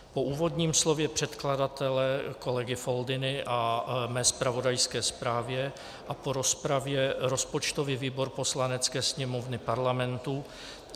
Po úvodním slově předkladatele kolegy Foldyny a mé zpravodajské zprávě a po rozpravě rozpočtový výbor Poslanecké sněmovny Parlamentu